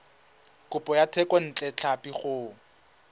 kopo ya thekontle tlhapi go